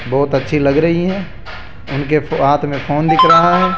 बहोत अच्छी लग रहीं हैं उनके फ हाथ में फोन दिख रहा है।